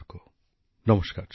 আমার প্রিয় পরিবারবর্গ নমস্কার